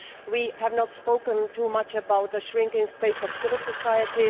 We have not spoken too much about the shrinking space of civil society.